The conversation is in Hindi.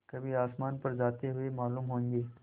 कभी आसमान पर जाते हुए मालूम होंगे